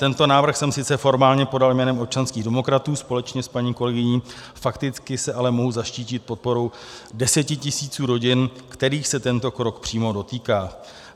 Tento návrh jsem sice formálně podal jménem občanských demokratů společně s paní kolegyní, fakticky se ale mohu zaštítit podporou desetitisíců rodin, kterých se tento krok přímo dotýká.